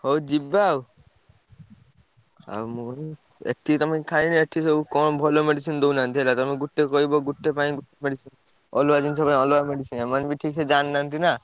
ହଉ ଯିବା ଆଉ। ଆଉ ଏ ଠି ତମେ ଯୋଉ ଖାଇଲଣି ଏଠି ସବୁ କଣ ଭଲ medicine ଦଉନାହନ୍ତି ହେଲା। ତମେ ଗୋଟେ କହିବ ଗୋଟେ ପାଇଁ medicine ଅଲଗା ଜିନିଷ ପାଇଁ ଅଲଗା medicine ଏମାନେ ବି ଠିକ୍ ସେ ଜାଣିନାହାନ୍ତି ନା।